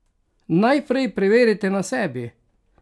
Najprej preverite na sebi!